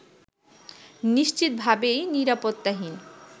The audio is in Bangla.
নিশ্চিতভাবেই নিরাপত্তাহীন